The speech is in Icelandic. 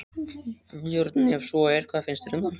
Björn: Ef svo er, hvað finnst þér um það?